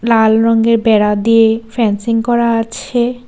লাল রঙের বেড়া দিয়ে ফেনসিং করা আছে।